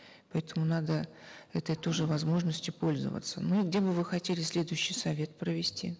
поэтому надо этой тоже возможностью пользоваться ну где бы вы хотели следующий совет провести